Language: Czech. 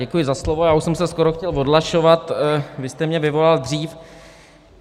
Děkuji za slovo, já už jsem se skoro chtěl odhlašovat, vy jste mě vyvolal dřív.